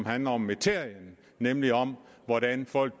handler om materien nemlig om hvordan folk